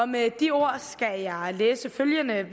med de ord skal jeg læse følgende